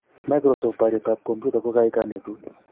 Microsoft: Boryet ab kompyuta koek kanetut